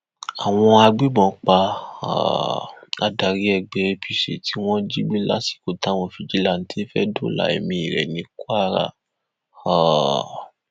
àwọn agbébọn pa um adarí ẹgbẹ apc tí wọn jí gbé lásìkò táwọn fijilanté fẹẹ dóòlà ẹmí rẹ ní kwara um